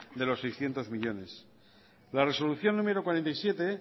de los seiscientos millónes la resolución número cuarenta y siete